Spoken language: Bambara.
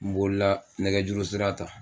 Nbola nɛgɛjuru sira ta.